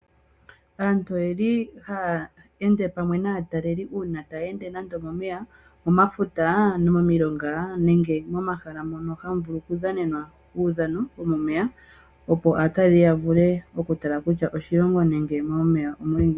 Aantu ohaya ende pamwe naatalelipo, uuna taya ende nande omomeya, momafuta, momilonga nenge momahala mono hamu vulu okudhanenwa uudhano womomeya, opo aatalelipo ya vule okutala kutya oshilongo nenge momeya omu li ngiini.